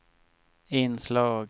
inslag